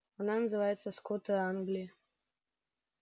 она называется скоты англии